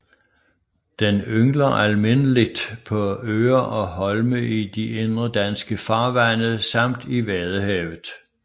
Den yngler almindeligt på øer og holme i de indre danske farvande samt i Vadehavet